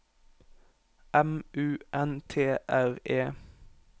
M U N T R E